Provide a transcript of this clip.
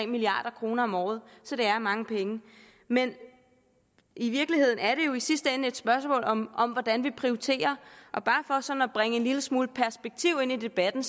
milliard kroner om året så det er mange penge men i virkeligheden er det jo i sidste ende et spørgsmål om om hvordan vi prioriterer og bare for sådan at bringe en lille smule perspektiv ind i debatten